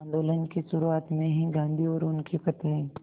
आंदोलन की शुरुआत में ही गांधी और उनकी पत्नी